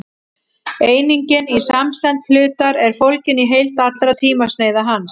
einingin í samsemd hlutar er fólgin í heild allra tímasneiða hans